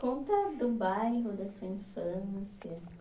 Conta do bairro, da sua infância,